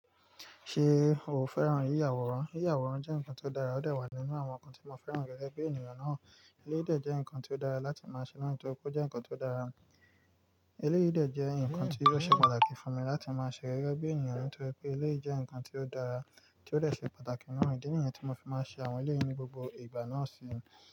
Ṣé o fẹ́ràn yíyàwòrán? Yíyàwòrán jẹ́ nǹkan tó dára, ó dè wà nínú àwọn nǹkan tí mo fẹ́ràn gẹ́gẹ́ bí ènìyàn náà. Eléyìí dè jẹ́ nǹkan tó dára láti máa ṣe naa nítorí pé ó jẹ́ nǹkan tó dára. Eléyìdè jẹ́ nǹkan tí yóò ṣe pàtàkì fún mi láti máa ṣe gégébí ènìyàn nítorí pé eléyì jẹ́ nǹkan tó dára, tí ó lè dè pàtàkì nù. Ídí nìyẹn tí mo fi máa ń ṣe àwọn eléyì ní gbogbo ìgbà náà síi.